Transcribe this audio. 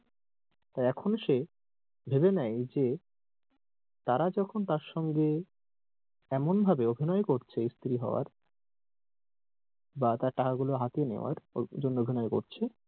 তাই এখন সে ভেবে নেই যে তারা যখন তার সঙ্গে এমন ভাবে অভিনয় করছে স্ত্রী হওয়ার বা তার টাকা গুলা হাতিয়ে নেয়ার এই জন্যে অভিনয় করছে,